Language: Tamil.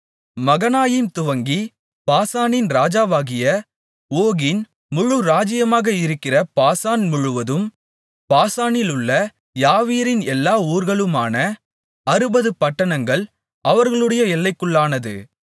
மகனாயீம் துவங்கி பாசானின் ராஜாவாகிய ஓகின் முழு ராஜ்யமாக இருக்கிற பாசான் முழுவதும் பாசானிலுள்ள யாவீரின் எல்லா ஊர்களுமான அறுபது பட்டணங்கள் அவர்களுடைய எல்லைக்குள்ளானது